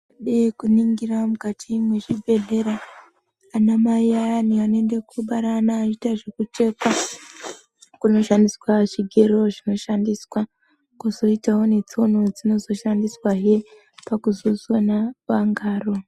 Tikaningira mukati mwezvibhedhlera anamai ayani anoende koobara achiita zvekuchekwa kunoshandiswa zvigero zvinoshandiswa, kwozoitawo netsono dzinozoshaiswahe pakuzosona vangaro.